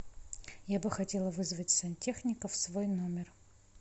я бы хотела вызвать сантехника в свой номер